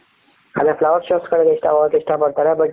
ಅದೇ flower showಗಳಿಗ್ ಹೋಗಕ್ಕೆ ಇಷ್ಟಪಡ್ತಾರೆ but